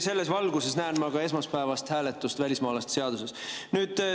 Selles valguses näen ma ka esmaspäevast hääletust välismaalaste seaduse üle.